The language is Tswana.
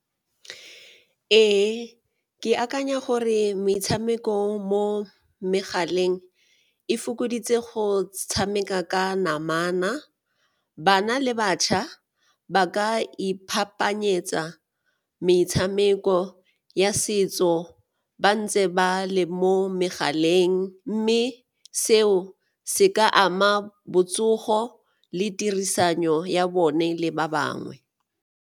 Ee, ke akanya gore metshameko mo megaleng e fokoditse go tshameka ka namana, bana le batjha ba ka ipaakanyetsa metshameko ya setso ba ntse ba le mo megaleng mme seo se ka ama botsogo le tirisano ya bone le ba bangwe.